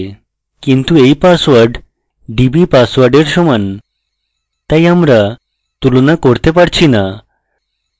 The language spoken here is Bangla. কিন্তু এই password dbpassword এর সমান তাই আমরা তুলনা করতে পারছি so